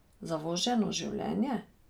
Zavoženo življenje?